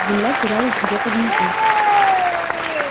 земля терялась где-то внизу